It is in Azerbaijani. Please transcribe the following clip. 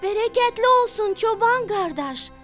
Bərəkətli olsun çoban qardaş!